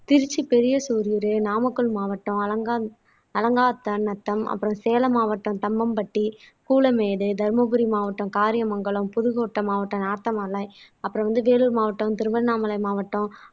திருச்சி பெரிய சூரியுரு நாமக்கல் மாவட்டம் அலங்காஅலங்காத்தான்நத்தம் அப்புறம் சேலம் மாவட்டம் தம்மம்பட்டி கூலமேடு தர்மபுரி மாவட்டம் காரியமங்கலம் புதுக்கோட்டை மாவட்டம் நாத்தமாலை அப்புறம் வந்து வேலூர் மாவட்டம் திருவண்ணாமலை மாவட்டம்